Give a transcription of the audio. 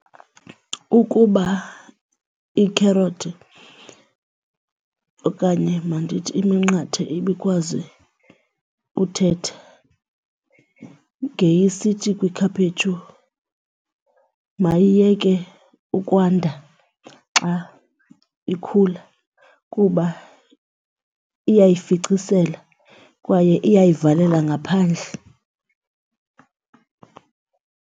Ukuba iikherothi okanye mandithi iminqathe ibikwazi uthetha ngeyisithi kwikhaphetshu mayiyeke ukwanda xa ikhula kuba iyayificisela kwaye iyayivalela ngaphandle.